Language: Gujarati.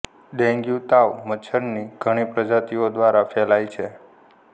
ડેન્ગ્યુ તાવ મચ્છર ની ઘણી પ્રજાતિઓ દ્વારા ફેલાય છે